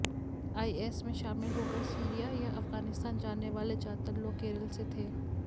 IS में शामिल होकर सीरिया या अफगानिस्तान जाने वाले ज्यादातर लोग केरल से थे